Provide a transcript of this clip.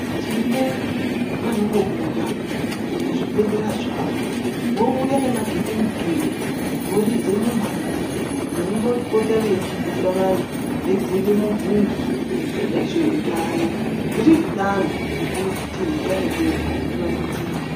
Tine vanombo buda muzvibhedhlera zvavo vouya nema gindimukindi voridze mumhazi veimbo pote veidzidzisa antu veibvunze mibvunzo nezveutano, riri danho rekuti utano hwedu huvandudzike.